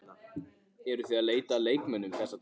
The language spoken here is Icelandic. Eruð þið að leita að leikmönnum þessa dagana?